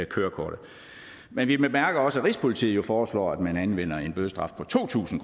kørekortet men vi bemærker også at rigspolitiet foreslår at man anvender en bødestraf på to tusind